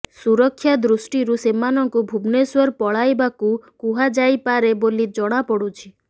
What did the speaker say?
ସୁରକ୍ଷା ଦୃଷ୍ଟିରୁ ସେମାନଙ୍କୁ ଭୁବନେଶ୍ୱର ପଳାଇବାକୁ କୁହାଯାଇପାରେ ବୋଲି ଜଣାପଡ଼ୁଛି